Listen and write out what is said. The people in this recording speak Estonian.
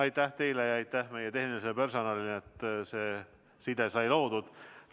Aitäh teile ja aitäh meie tehnilisele personalile, et see side sai loodud!